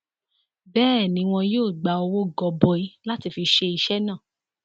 bẹẹ ni wọn yóò gba owó gọbọi láti fi ṣe iṣẹ náà